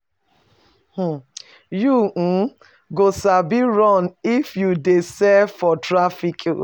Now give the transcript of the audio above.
You um go sabi run if you dey sell for traffic.